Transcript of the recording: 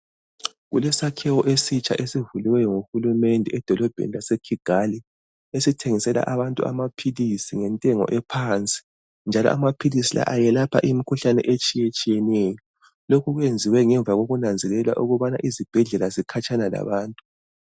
Kulesakhiwo esitsha esivuliweyo nguhulumende edolobheni laseKigali, esithengisela abantu amaphilisi ngentengo ephansi, njalo amaphilisi la ayelapha imikhuhlane etshiyetshiyeneyo. Lokhu kuyenziwe ngemva kokunanzelela ukubana izibhedlela zikhatshana labantu.